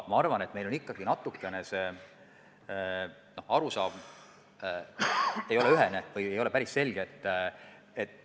Ma arvan, et meie arusaamad selles osas ei ole ühesed või päris selged.